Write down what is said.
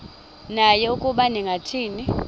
naye ukuba ningathini